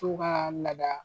To kaa lada